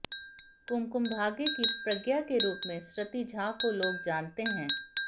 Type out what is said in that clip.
कुमकुम भाग्य की प्रज्ञा के रूप में सृति झा को लोग जानते हैं